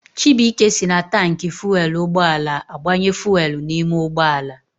Chibuike si na taanki fuelu ụgbọala agbanye fuelu n'ime ụgbọala